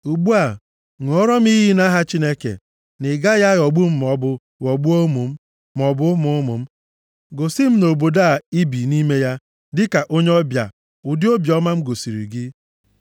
Ugbu a, ṅụọra m iyi nʼaha Chineke na ị gaghị aghọgbu m maọbụ ghọgbuo ụmụ m, maọbụ ụmụ ụmụ m. Gosi m nʼobodo a i bi nʼime ya dịka onye ọbịa ụdị obiọma m gosiri gị.”